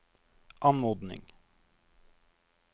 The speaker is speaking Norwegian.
anmodning